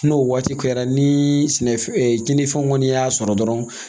N'o waati kɛra ni sɛnɛ fɛn tiɲɛnifɛnw kɔni y'a sɔrɔ dɔrɔn